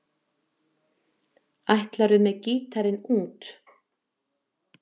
Ætlarðu með gítarinn út?